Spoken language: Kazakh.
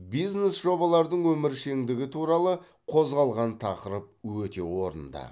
бизнес жобалардың өміршеңдігі туралы қозғалған тақырып өте орынды